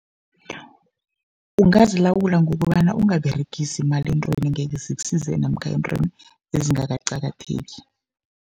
Ungazilawula ngokobana ungaberegisi imali eentweni engekhe zikusize namkha eentweni ezingakaqakatheki.